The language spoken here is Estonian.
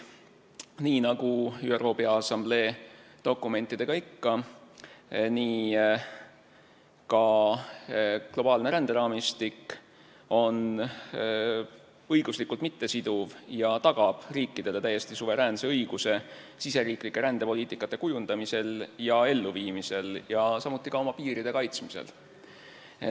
Nii nagu ÜRO Peaassamblee dokumentidega ikka, on ka globaalne ränderaamistik õiguslikult mittesiduv ja tagab riikidele täiesti suveräänse õiguse riigisiseste rändepoliitikate kujundamisel ja elluviimisel, samuti oma piiride kaitsmisel.